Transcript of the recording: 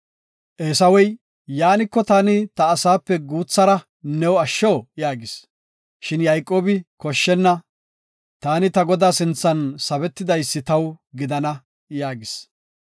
Eesawey, “Yaaniko, taani ta asaape guuthara new asho” yaagis. Shin Yayqoobi, “Koshshenna; taani ta godaa sinthan sabetidaysi taw gidana” yaagis.